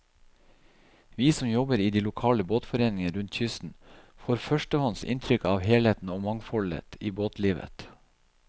Vi som jobber i de lokale båtforeningene rundt kysten, får førstehånds inntrykk av helheten og mangfoldet i båtlivet.